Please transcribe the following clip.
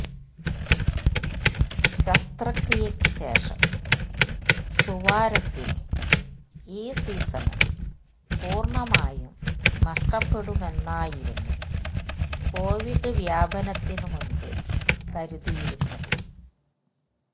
ശസ്ത്രക്രിയക്ക് ശേഷം സുവാരസിന് ഈ സീസണ് പൂര്ണമായും നഷ്ടപ്പെടുമെന്നായിരുന്നു കോവിഡ് വ്യാപനത്തിനു മുന്പ് കരുതിയിരുന്നത്